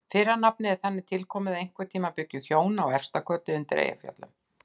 Fyrra nafnið er þannig tilkomið að einhvern tíma bjuggu hjón að Efstakoti undir Eyjafjöllum.